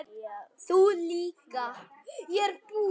Þú líka.